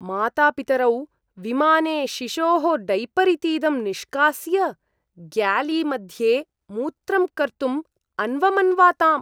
मातापितरौ विमाने शिशोः डैपर् इतीदं निष्कास्य ग्यालीमध्ये मूत्रं कर्तुम् अन्वमन्वाताम्।